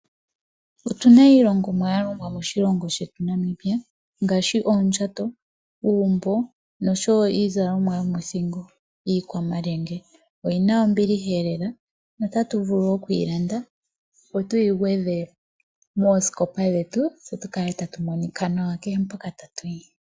Otuna iilongomwa yalongwa moshilongo shetu Namibia ngaashi pondjato, uumbo niizalomwa yomothingo ano iikwamalyenge. Oyina ombilihaelela . Otatu vulu okuyilanda tuyi gwedhe moosikopa dhetu , tse tukale tatu monika nawa kehe mpoka tatuyi.